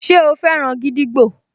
Ṣe o fẹ́ràn gídígbò?